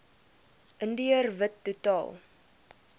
indiër wit totaal